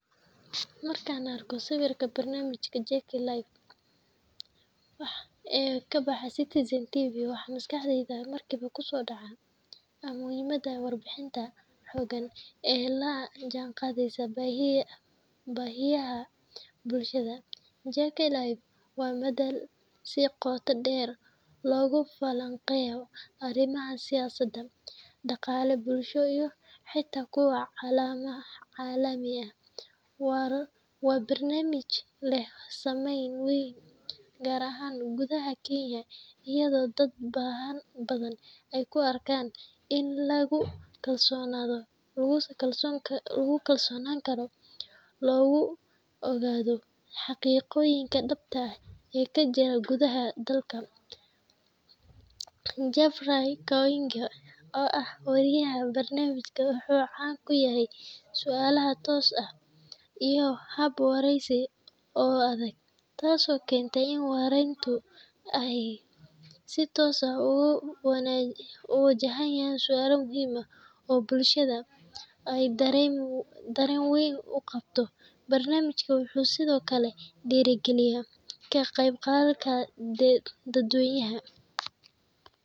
Marka aan arko sawirka barnaamijka JK LIVE ee ka baxa Citizen TV, waxa maskaxdayda markiiba ku soo dhaca ah muhiimadda warbaahinta xooggan ee la jaanqaadaysa baahiyaha bulshada. JK LIVE waa madal si qoto dheer loogu falanqeeyo arrimaha siyaasadeed, dhaqaale, bulsho iyo xitaa kuwo caalami ah. Waa barnaamij leh saameyn weyn, gaar ahaan gudaha Kenya, iyadoo dad badan ay u arkaan il lagu kalsoonaan karo oo lagu ogaado xaqiiqooyinka dhabta ah ee ka jira gudaha dalka. Jeffrey Koinange, oo ah wariyaha barnaamijka, wuxuu caan ku yahay su’aalo toos ah iyo hab waraysi oo adag, taas oo keenta in martidu ay si toos ah u wajahaan su’aalo muhiim ah oo bulshadu ay dareen weyn u qabto. Barnaamijku wuxuu sidoo kale dhiirrigeliyaa ka qeybgalka dadweynaha